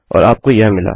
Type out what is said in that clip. और आपको यह मिला